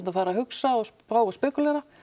að fara að hugsa og spá og spekúlera